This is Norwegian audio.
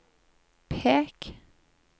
pek